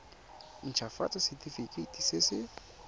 nt hafatsa setefikeiti se se